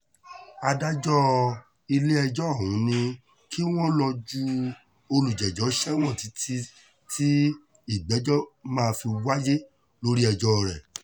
adájọ́ ilé-ẹjọ́ ọ̀hún ni kí wọ́n lọ́ọ́ ju olùjẹ́jọ́ sẹ́wọ̀n títí tí ìgbẹ́jọ́ máa fi wáyé lórí ẹjọ́ rẹ̀